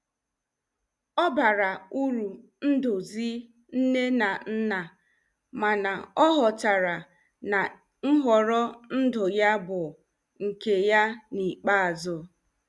Ọ bara uru nduzi nne na nna mana ọ ghọtara na nhọrọ ndụ ya bụ nke ya n'ikpeazụ.